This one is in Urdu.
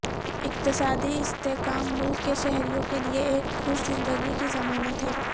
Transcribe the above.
اقتصادی استحکام ملک کے شہریوں کے لئے ایک خوش زندگی کی ضمانت ہے